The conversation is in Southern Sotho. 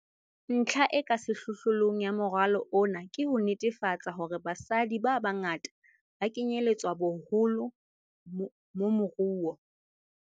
Ntlha e ka sehlohlolong ya moralo ona ke ho netefatsa hore basadi ba bangata ba kenyeletswa boholo mo moruo.